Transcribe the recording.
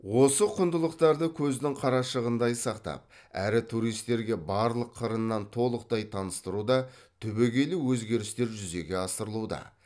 осы құндылықтарды көздің қарашығындай сақтап әрі туристерге барлық қырынан толықтай таныстыруда түбегейлі өзгерістер жүзеге асырылуда